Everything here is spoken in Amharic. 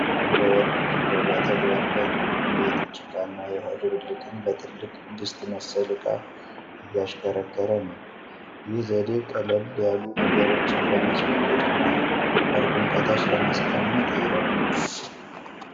በወርቅ ፍለጋ ተግባር ላይ ነው። የጭቃና የውሃ ድብልቅን በትልቅ ድስት መሰል ዕቃ እያሽከረከረ ነው። ይህ ዘዴ ቀለል ያሉ ነገሮችን ለማስወገድና ወርቅን ከታች ለማስቀመጥ ይረዳል።